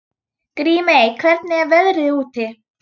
Grímey, hvernig er veðrið úti?